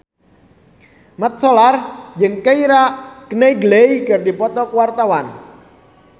Mat Solar jeung Keira Knightley keur dipoto ku wartawan